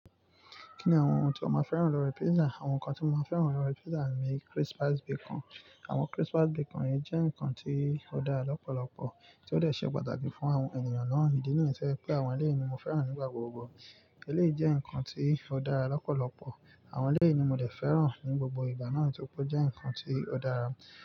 Kí ni àwọn ohun tí o máa fẹ́ràn lọ́rẹ pítsà? Àwọn nǹkan tí mo máa fẹ́ràn lọ́rẹ pítsà ni crispies bacon. Àwọn crispies bacon yìí jẹ́ nǹkan tí ó dára lọ́pọ̀lọpọ̀ tí ó lè ṣe pàtàkì fún àwọn ènìyàn náà. Ìdí nìyen to jẹ́ pé àwọn eléyii ni mo fẹ́ràn nígbà gbogbo. Eléyii jẹ́ nǹkan tí ó dára lọ́pọ̀lọpọ̀. Àwọn eléyii ni mo dè fẹ́ràn ní gbogbo ìgbà náà tó ri pe o jẹ́ nǹkan tí ó dára.